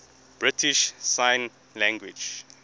british sign language